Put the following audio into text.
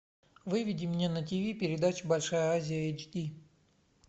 выведи мне на тв передачу большая азия эйч ди